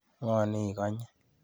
Ng'o nin ikanyi